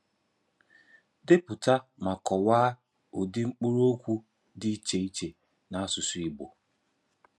Depụta ma kọwaa ụdị mkpụrụokwu dị iche iche n’asụsụ Igbo.